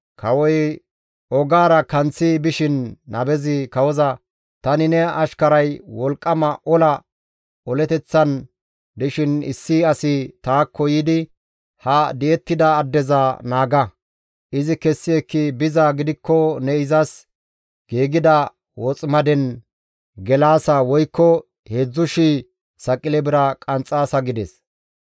Kawoy ogaara kanththi bishin nabezi kawoza, «Tani ne ashkaray wolqqama ola oleteththan dishin issi asi taakko yiidi, ‹Ha di7ettida addeza naaga. Izi kessi ekki bizaa gidikko ne izas giigida woximaden gelaasa woykko 3,000 saqile bira qanxxaasa› gides.